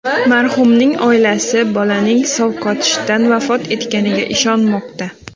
Marhumning oilasi bolaning sovqotishdan vafot etganiga ishonmoqda.